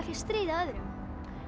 stríða öðrum